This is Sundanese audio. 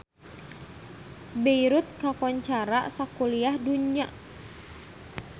Beirut kakoncara sakuliah dunya